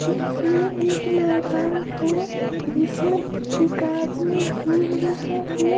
इसमें एक मैदान हैजिसमें एक आदमी घूम रहा है।